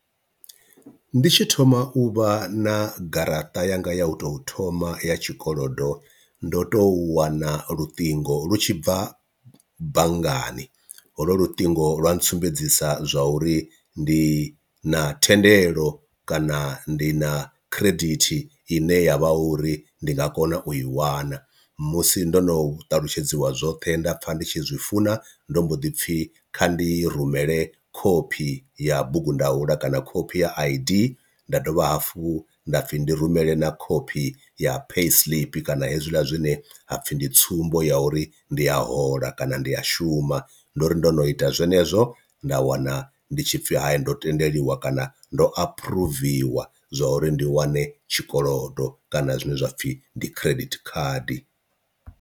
Ndi tshi thoma u vha na garaṱa yanga ya u tou thoma ya tshikolodo ndo tou wana luṱingo lu tshi bva banngani, holwo luṱingo lwa ntsumbedzisa zwa uri ndi na thendelo kana ndi na khiredithi i ne ya vha uri ndi nga kona u i wana musi ndo no ṱalutshedziwa zwoṱhe nda pfha ndi tshi zwifuna, ndo mbo ḓi pfhi kha ndi rumele khophi ya bugundaula kana khophi ya I_D nda dovha hafhu nda pfhi ndi rumele na khophi ya pay slip kana hezwiḽa zwine hapfhi ndi tsumbo ya uri ndi a hola kana ndi a shuma, ndori ndo no ita zwenezwo zwo nda wana ndi tshipfi hayi ndo tendeliwa kana ndo aphuruviwa zwa uri ndi wane tshikolodo kana zwine zwapfhi ndi credit card.